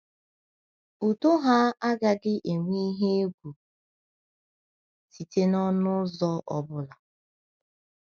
Udo ha agaghị enwe ihe egwu site n’ọnụ ụzọ ọ bụla